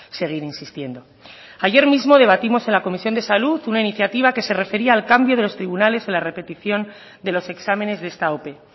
seguir insistiendo ayer mismo debatimos en la comisión de salud una iniciativa que ese refería al cambio de los tribunales en la repetición de los exámenes de esta ope